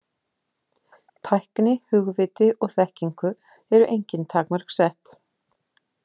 Tækni, hugviti og þekkingu eru engin takmörk sett.